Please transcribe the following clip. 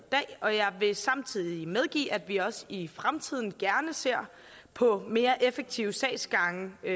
og jeg vil samtidig medgive at vi også i fremtiden gerne ser på mere effektive sagsgange der